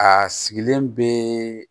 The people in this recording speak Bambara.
A sigilen bɛ